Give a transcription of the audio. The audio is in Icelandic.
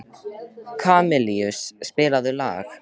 Kamilus, spilaðu lag.